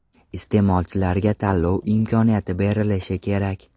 Iste’molchilarga tanlov imkoniyati berilishi kerak.